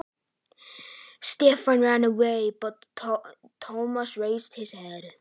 Stefán hljóp af stað en þá lyfti Thomas höfði.